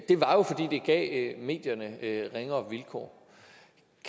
det gav medierne ringere vilkår